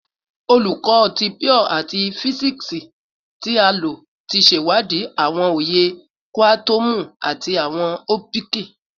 Olukọ ti Pure ati Fisiksi ti a lo ti ṣewadii awọn oye kuatomu ati awọn opiki